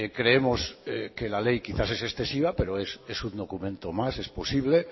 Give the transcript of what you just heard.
creemos que la ley quizás es excesiva pero es un documento más es posible